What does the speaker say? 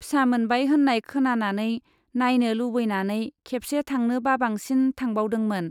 फिसा मोनबाय होन्नाय खोनानानै नाइनो लुबैनानै खेबसे थांनो बाबांसिन थांबावदोंमोन।